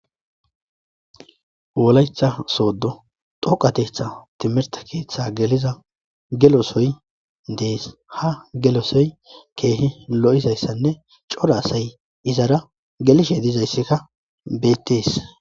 wolaytha sooddo doqatetha timirta keeththe geliza gelosoy dees ha gelosoy keehi lo7izayssanne coda asay izara gelishe dizayssikka beettees